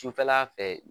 Sufɛla fɛ